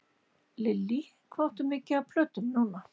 Lillý: Hvað áttu mikið af plötum núna?